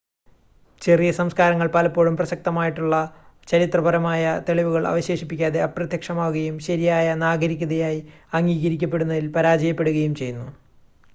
ചെറിയ സംസ്കാരങ്ങൾ പലപ്പോഴും പ്രസക്തമായിട്ടുള്ള ചരിത്രപരമായ തെളിവുകൾ അവശേഷിപ്പിക്കാതെ അപ്രത്യക്ഷമാവുകയും ശരിയായ നാഗരികതയായി അംഗീകരിക്കപ്പെടുന്നതിൽ പരാജയപ്പെടുകയും ചെയ്യുന്നു